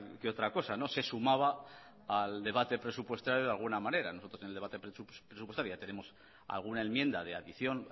que otra cosa se sumaba al debate presupuestario de alguna manera en el debate presupuestario ya tenemos alguna enmienda de adición